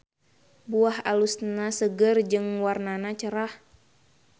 Buah alusna seger jeung warnana cerah.